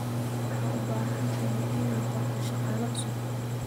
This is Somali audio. Waxaad u baahan tahay inaad qorto shaqaale cusub.